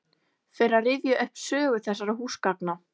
Fer að rifja upp sögu þessara húsgagna.